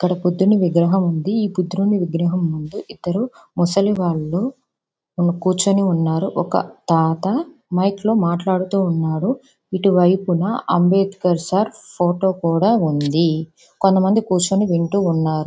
ఇక్కడ బుద్ధుడు విగ్రహం ఉంది. ఈ బుద్ధుని విగ్రహం ముందు ఇద్దరు ముసలి వాళ్ళు కుచోనేయున్నారు. ఒక తాత మైక్ లో మాటలు ఆడుతున్నారు.ఇటువేపున అంబెడ్కర్ సార్ ఫోటో కూడా ఉంది. కొంతమంది కూర్చొని వింటూన్నారు .